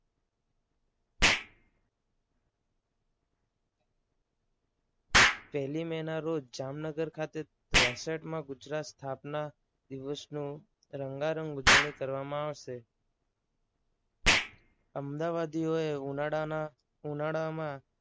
પહેલી મે ના રોજ જામનગર ખાતે તેસઠમાં ગુજરાત સ્થાપના દિવસનું રંગારંગ ઉજવણી કરવામાં આવશે. અમદાવાદ ઉનાળાના ઉનાળામાં